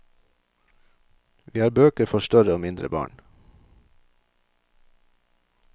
Vi har bøker for større og mindre barn.